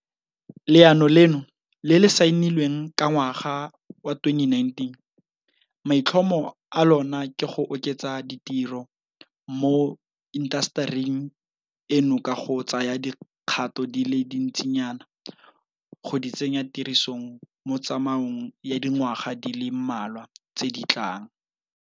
Leano leno le le saenilweng ka ngwaga wa 2019, maitlhomo a lona ke go oketsa ditiro mo intasetering eno ka go tsaya dikgato di le dintsinyana go di tsenya tirisong mo tsamaong ya dingwaga di le mmalwa tse di tlang.